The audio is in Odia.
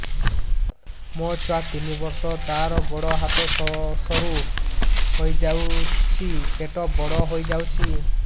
ମୋ ଛୁଆ ତିନି ବର୍ଷ ତାର ଗୋଡ ହାତ ସରୁ ହୋଇଯାଉଛି ପେଟ ବଡ ହୋଇ ଯାଉଛି